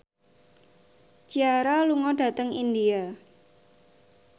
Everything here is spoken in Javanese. Ciara lunga dhateng India